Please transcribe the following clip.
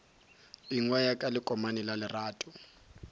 ingwaya ka lekomane la lerato